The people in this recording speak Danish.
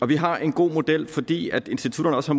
vi har en god model fordi institutterne også